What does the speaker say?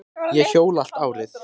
Ég hjóla allt árið.